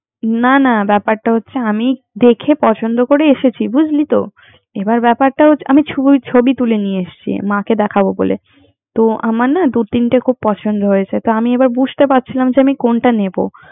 না না ব্যাপারটা হচ্ছে আমি দেখে েপছন্দ করে এসেছি বুঝলি তো। আমি ছবি তুলে নিয়ে এসছি। আমার না দুই তিনটা খুব পছন্দ হয়েছে। তো আমি আবার বুঝতে পারছিলাম যে কোনটা নিবো